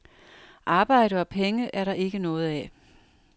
Arbejde og penge er der ikke noget af.